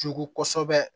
Jugu kosɛbɛ